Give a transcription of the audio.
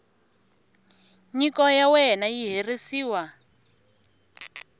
nyiko ya wena yi herisiwa